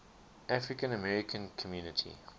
african american community